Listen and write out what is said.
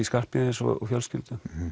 Skarphéðins og fjölskyldu